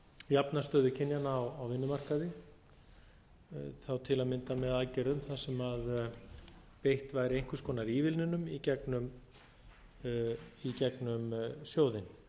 jafna stöðu kynjanna á vinnumarkaði þá til að mynda með aðgerðum þar sem beitt væri einhvers konar ívilnunum í gegnum sjóðinn